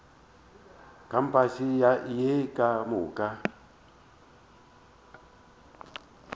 kampase ye ka moka o